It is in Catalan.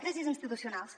crisis institucionals